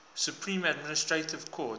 supreme administrative court